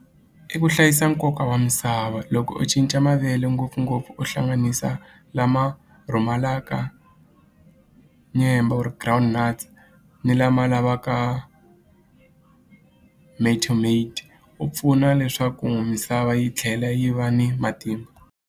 I ku hlayisa nkoka wa misava loko u cinca mavele ngopfungopfu u hlanganisa lama rhumalaka nyembo or ground nuts ni lama lavaka ku pfuna leswaku misava yi tlhela yi va ni matimba.